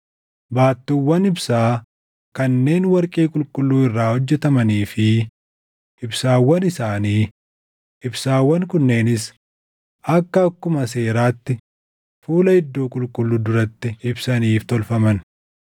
baattuuwwan ibsaa kanneen warqee qulqulluu irraa hojjetamanii fi ibsaawwan isaanii; ibsaawwan kunneenis akka akkuma seeraatti fuula iddoo qulqulluu duratti ibsaniif tolfaman;